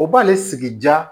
O b'ale sigi ja